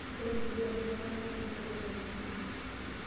Ore enkiguran ekwatata na kekwetitai oleng.